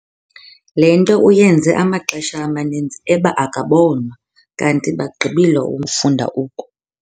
Le nto uyenze amaxesha amaninzi eba akabonwa, kanti bagqibile umfunda oku.